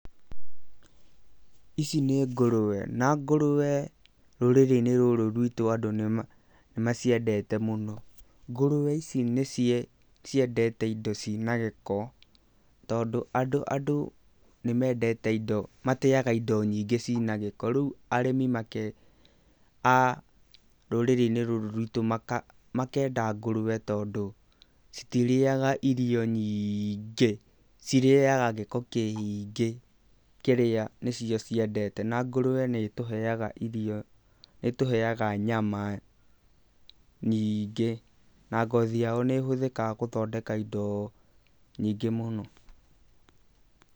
Ici nĩ ngũrũwe, na ngũrũwe rũrĩrĩ-inĩ rũrũ rwitũ andũ nĩ maciendete mũno. Ngũrũwe ici nĩ ciendete indo ciĩ na gĩko tondũ, andũ nĩ mateaga indo nyingĩ ciĩ na gĩko, rĩu arĩmi a rũrĩrĩ-inĩ rũrũ rwitũ makenda ngũrũwe tondũ citirĩaga irio nyingĩ, cirĩaga gĩko kĩingĩ kĩrĩa nĩcio ciendete na ngũrũwe nĩ ĩtũheaga nyama nyingĩ na ngothi yayo nĩ ĩhũthĩkaga gũthondeka indo nyingĩ mũno.